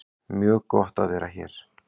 Mjög gott að vera hér